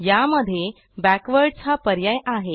यामध्ये बॅकवर्डसह हा पर्याय आहे